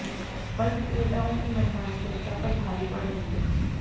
फल विक्रेताओं की मनमानी जनता पर भारी पड़ रही है